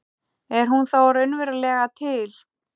Er hún þá raunverulega til?